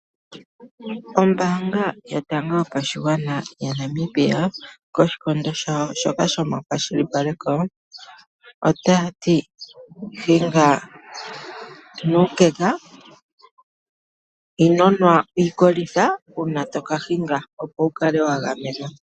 Ombanga yotango yopashigwana yaNamibia koshikondo shawo shoka shomakwashilipaleko ota yati hinga nuukeka, ino nwa iikolitha uuna toka hinga opo wu kale wa gamenwa.